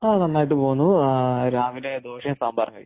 മ്മ് നന്നായിട്ട് പോകുന്നു രാവിലെ ദോശയും സാമ്പാറും കഴിച്ചു